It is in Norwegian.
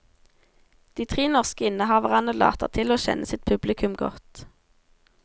De tre norske innehaverne later til å kjenne sitt publikum godt.